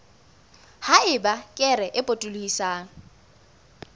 ha eba kere e potolohisang